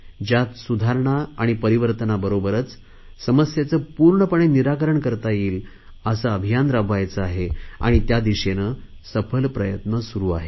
ज्यात सुधारणा आणि परिवर्तनाबरोबरच समस्येचे पूर्णपणे निराकरण करता येईल असे अभियान राबवायचे आहे आणि त्या दिशेने सफल प्रयत्न सुरु आहेत